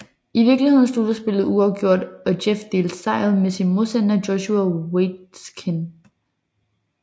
I vikeligheden sluttede spillet uafgjort og Jeff delte sejret med sin modstander Joshua Waitzkin